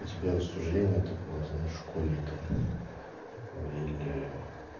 у тебя рассуждения такого знаешь школьника или